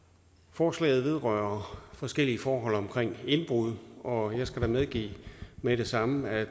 forslaget vedrører forskellige forhold omkring indbrud og jeg skal da medgive med det samme at